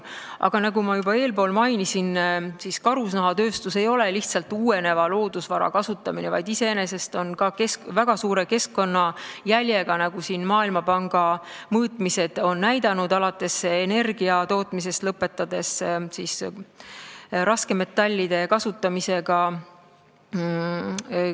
Aga nagu ma juba eespool mainisin, karusnahatööstus ei ole lihtsalt uueneva loodusvara kasutamine, vaid see on väga suure keskkonnajäljega, nagu Maailmapanga mõõtmised on näidanud, alates energia tootmisest ja lõpetades raskmetallide kasutamisega.